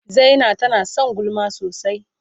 Zaina tana son gulma sosai.